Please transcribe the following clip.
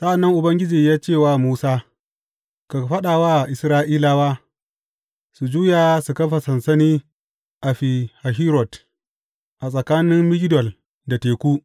Sa’an nan Ubangiji ya ce wa Musa, Ka faɗa wa Isra’ilawa, su juya su kafa sansani a Fi Hahirot, a tsakanin Migdol da teku.